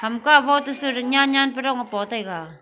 Hamka ko to su nyian nyian pe dong a pa taiga.